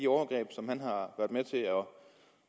overgreb som han har